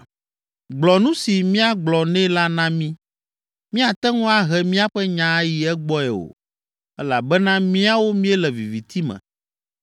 “Gblɔ nu si míagblɔ nɛ la na mí, míate ŋu ahe míaƒe nya ayi egbɔe o elabena míawo míele viviti me.